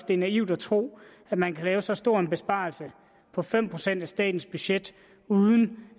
det er naivt at tro at man kan lave så stor en besparelse som fem procent af statens budget uden